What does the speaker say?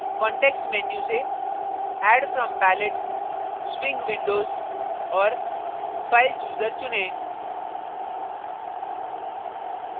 context menu से add from palette swing windows और file chooser चुनें